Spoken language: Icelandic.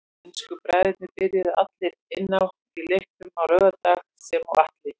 Ensku bræðurnir byrjuðu allir inn á í leiknum á laugardag sem og Atli.